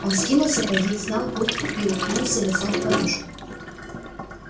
он скинул сапоги снял куртку и уткнулся лицом в подушку